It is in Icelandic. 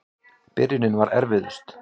Byrjunin var erfiðust.